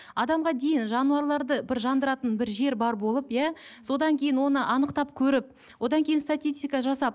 адамға дейін жануарларды бір жандыратын бір жер бар болып иә содан кейін оны анықтап көріп одан кейін статистика жасап